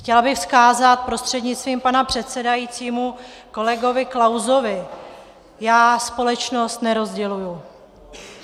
Chtěla bych vzkázat prostřednictvím pana předsedajícího kolegovi Klausovi: Já společnost nerozděluji.